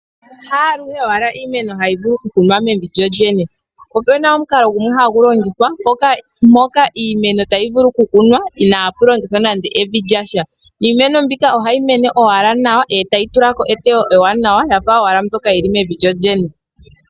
Haaluhe wala iimeno hayi vulu ku kunwa mevi lyo yene. Opuna omukalo gumwe ngoka hagu longithwa mpoka iimeno tayi vulu oku kunwa inaapu longithwa evi lyasha. Niimeno mbika ohayi mene owala nawa etayi tulako eteyo li li nawa yafa owala yili mevi lyo lye.